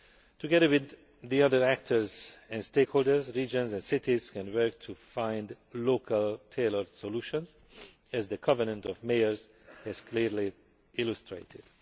Together with the other actors and stakeholders, regions and cities can work to find local tailored solutions, as the Covenant of Mayors has clearly illustrated.